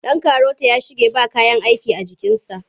Ɗan karota ya shige ba kayan aiki a jikinsa.